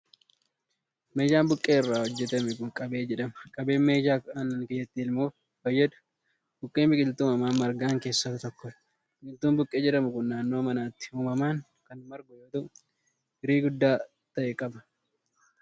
Meeshaan buqqee irraa hojjatame kun, qabee jedhama. Qabeen meeshaa aannan keessatti elmuuf fayyaduu dha. Buqqeen biqiltuu uumamaan margan keessaa isa tokko dha. Biqiltuun buqqee jedhamu kun, naannoo manaatti uumamaan kan margu yoo ta'u, firii guddaa ta'e qaba.